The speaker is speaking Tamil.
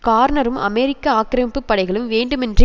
கார்நரும் அமெரிக்க ஆக்கிரமிப்பு படைகளும் வேண்டுமென்றே